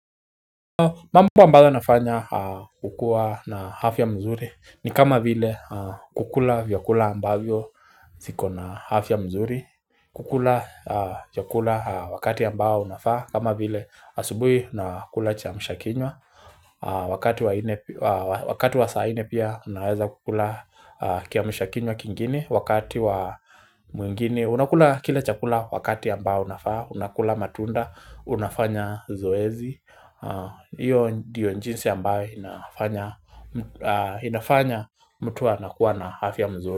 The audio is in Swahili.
Mambo ambayo nafanya kukuwa na afya mzuri ni kama vile kukula vyakula ambavyo ziko na afta ya mzuri kukula chakula wakati ambao unafaa kama vile asubuhi na kula kiamshakinywa Wakati wa saa nne pia unaweza kukula kiamshakin6wa kingini wakati wa mwingini Unakula kile chakula wakati ambao unafaa unakula matunda unafanya zoezi Iyo ndiyo jinsi ambaye inafanya mtu anakuwa na afya mzuri.